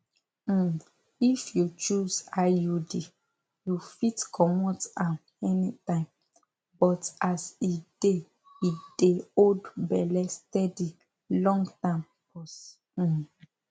um if you choose iud you fit comot am anytime but as e dey e dey hold belle steady longterm pause um